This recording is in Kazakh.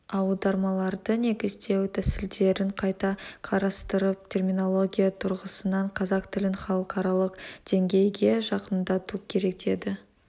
аудармаларды негіздеу тәсілдерін қайта қарастырып терминология тұрғысынан қазақ тілін халықаралық деңгейге жақындату керек деді